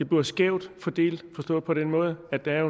bliver skævt fordelt forstået på den måde at der